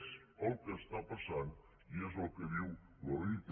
és el que està passant i és el que diu l’oit